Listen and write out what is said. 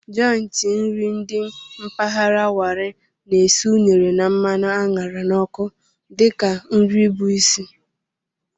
Jọịntị nri dị mpaghara Warri na-esi unere na mmanụ a ṅara n'ọkụ dị ka nri bụ isi.